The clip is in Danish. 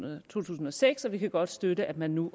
og to tusind og seks og vi kan godt støtte at man nu